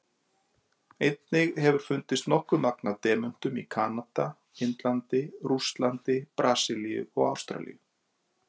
Einnig hefur fundist nokkuð magn af demöntum í Kanada, Indlandi, Rússlandi, Brasilíu og Ástralíu.